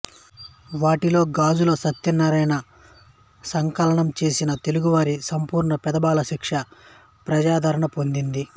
వాటిలో గాజుల సత్యన్నారాయణ సంకలనంచేసిన తెలుగువారి సంపూర్ణ పెద్దబాలశిక్ష ప్రజాదరణ పొందింది